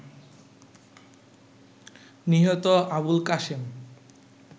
নিহত আবুলকাশেম